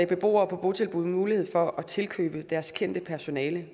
beboere på botilbud mulighed for at tilkøbe deres personale